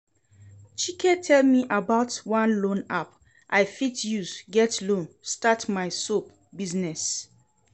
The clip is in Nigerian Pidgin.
Chike tell me about one loan app I fit use get loan start my soap business